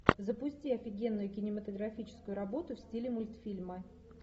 запусти офигенную кинематографическую работу в стиле мультфильма